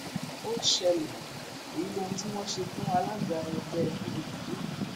ó ṣẹlẹ èyí lóhun tí wọn ṣe fún alága ẹgbẹ pdp l'ondo